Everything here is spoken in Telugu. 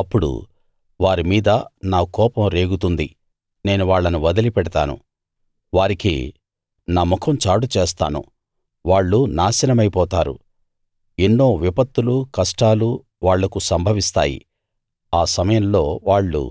అప్పుడు వారిమీద నా కోపం రేగుతుంది నేను వాళ్ళని వదిలిపెడతాను వారికి నా ముఖం చాటు చేస్తాను వాళ్ళు నాశనమైపోతారు ఎన్నో విపత్తులూ కష్టాలూ వాళ్లకు సంభవిస్తాయి ఆ సమయంలో వాళ్ళు